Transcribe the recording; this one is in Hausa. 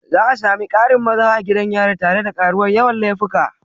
Za a sami ƙarin maza a gidan yari tare da karuwar yawan laifuka.